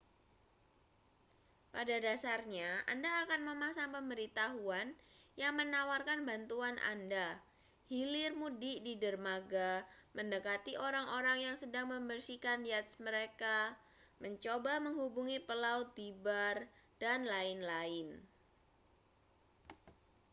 pada dasarnya anda akan memasang pemberitahuan yang menawarkan bantuan anda hilir mudik di dermaga mendekati orang-orang yang sedang membersihkan yacht mereka mencoba menghubungi pelaut di bar dan lain-lain